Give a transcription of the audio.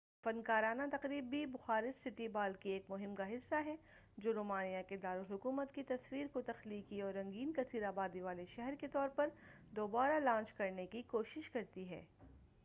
یہ فنکارانہ تقریب بھی بخارسٹ سٹی ہال کی ایک مہم کا حصہ ہے جو رومانیہ کے دارالحکومت کی تصویر کو تخلیقی اور رنگین کثیر آبادی والے شہر کے طور پر دوبارہ لانچ کرنے کی کوشش کرتی ہے